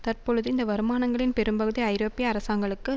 தற்பொழுது இந்த வருமானங்களின் பெரும்பகுதி ஐரோப்பிய அரசாங்களுக்கு